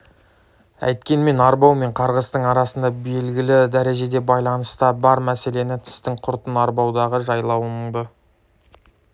әйткенмен арбау мен қарғыстың арасында белгілі дәрежеде байланыс та бар мәселен тістің құртын арбаудағы жайлауыңды